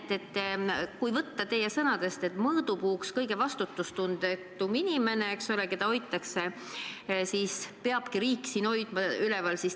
Ja teiseks: võtame kinni teie sõnadest, et mõõdupuuks on nagu kõige vastutustundetum inimene, keda peabki riik üleval hoidma.